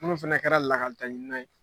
Munnu fana kɛra lakaletaɲinina ye.